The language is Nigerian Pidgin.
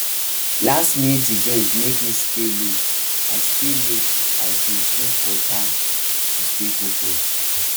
lastminute event make me stay late i stay late i dey drink water to stay focused